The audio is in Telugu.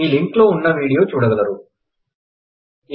ఈ లింక్ లోఉన్న వీడియొ చూడగలరు httpspoken tutorialorgWhat is a Spoken Tutorial